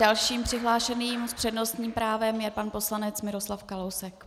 Dalším přihlášeným s přednostním právem je pan poslanec Miroslav Kalousek.